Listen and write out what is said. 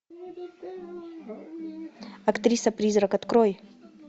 актриса призрак открой